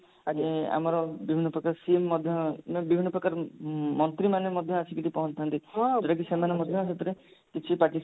ଏ ଆମର ନିମନ୍ତ୍ରିତ CM ମଧ୍ୟ ମାନେ ବିଭିନ୍ନ ପ୍ରକାର ଉଁ ମନ୍ତ୍ରୀ ମାନେ ମଧ୍ୟ ଆସିକିରି ପହଞ୍ଚିଥାନ୍ତି ଯଉଟା କି ସେମାନଙ୍କ କ୍ଷେତ୍ରରେ କିଛି